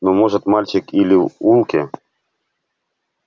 ну может мальчик или в улке